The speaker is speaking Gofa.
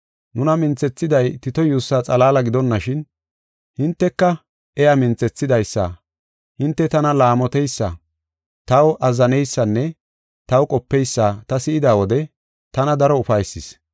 Nuna minthethiday Tito yuussaa xalaala gidonashin, hinteka iya minthethidaysa. Hinte tana laamoteysa, taw azzaneysanne taw qopeysa ta si7ida wode tana daro ufaysis.